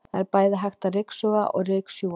Það er bæði hægt að ryksuga og ryksjúga.